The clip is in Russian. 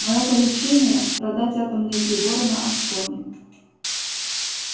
моё поручение продать атомные приборы на аскони